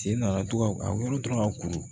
Sen nana to ka a wolo dɔrɔn ka kuru